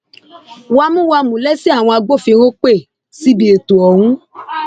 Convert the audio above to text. wámúwámù lẹsẹ àwọn agbófinró pẹ síbi ètò ọhún